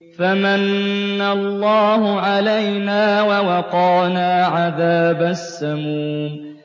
فَمَنَّ اللَّهُ عَلَيْنَا وَوَقَانَا عَذَابَ السَّمُومِ